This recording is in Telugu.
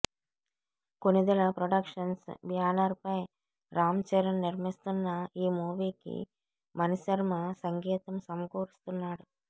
కొణిదెల ప్రొడక్షన్స్ బ్యానర్ పై రామ్ చరణ్ నిర్మిస్తున్న ఈ మూవీకి మణిశర్మ సంగీతం సమకూరుస్తున్నాడు